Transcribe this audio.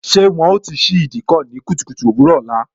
Ṣé wọn ó ti ṣí Ìdíkọ̀ ní kùtùkùtù òwúrò ọ̀la?